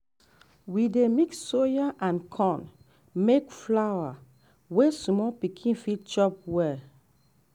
we dey mix soya and corn make flour wey small pikin fit chop well